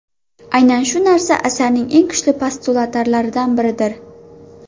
Aynan shu narsa asarning eng kuchli postulatlaridan biridir.